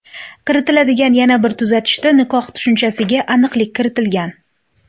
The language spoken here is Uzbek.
Kiritiladigan yana bir tuzatishda nikoh tushunchasiga aniqlik kiritilgan.